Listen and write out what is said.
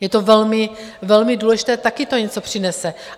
Je to velmi důležité, také to něco přinese.